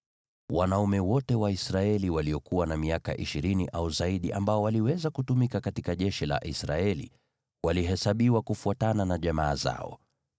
Wanaume wote Waisraeli waliokuwa na miaka ishirini au zaidi ambao waliweza kutumika katika jeshi la Israeli walihesabiwa kufuatana na jamaa zao.